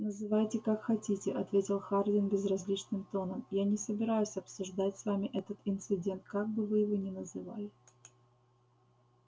называйте как хотите ответил хардин безразличным тоном я не собираюсь обсуждать с вами этот инцидент как бы вы его ни называли